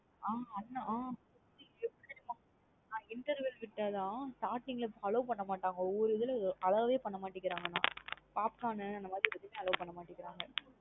ஆஹ் அண்ண எப்டி தெரியுமா interval விட்டா தான் starting லா allow பண்ணா மாட்டாங்க ஒவ்வொரு இதுல allow வே பண்ண மாட்டிங்கறாங்க நா. Popcorn னு அந்த மாதிரி எதுவுமே allow பண்ண மாட்டிங்கிறீங்க.